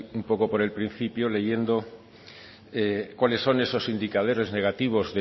un poco por el principio leyendo cuáles son esos indicadores negativos